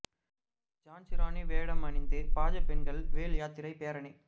ஜான்சி ராணி வேடம் அணிந்து பாஜ பெண்கள் வேல் யாத்திரை பேரணி